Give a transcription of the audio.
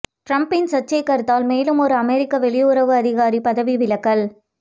டிரம்பின் சர்ச்சை கருத்தால் மேலும் ஓர் அமெரிக்க வெளியுறவு அதிகாரி பதவி விலகல்